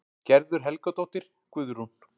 Gerður Helgadóttir, Guðrún